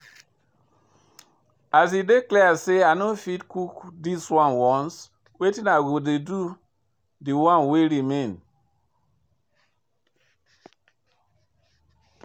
As e dey clear say I no fit cook this one once, wetin i go do de one wey go remain?